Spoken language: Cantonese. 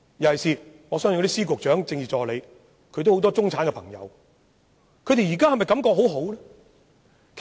各司長、局長及政治助理的一眾中產朋友，現在是否都感覺良好呢？